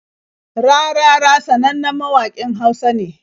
Rarara sanannen mawaƙin Hausa ne.